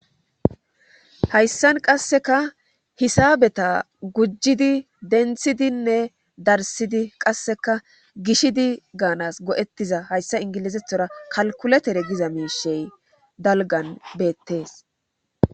Hayssan qass3ka hisaabeta gujjidi denthidinne darssidi qassekka gishidi gaanas go7ettida hayssa inggilozethora kalkkuletere goda miisheta dalggan beettees